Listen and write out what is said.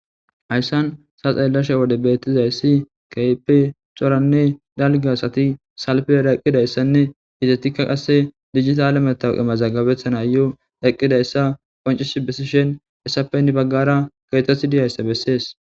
Hayssan ta xeelashe wode beetizayssi keehippe coranne dalgga asai sfera eqqidayssanne ezatikka qasse dijitale matawuqe mazggabetanaayo eqqidayssa qoccisi bessishe hessappe hini baggara keexeti dizayssa besees.